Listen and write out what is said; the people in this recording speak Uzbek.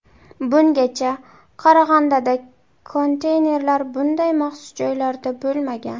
Bungacha Qarag‘andada konteynerlar bunday maxsus joylarda bo‘lmagan.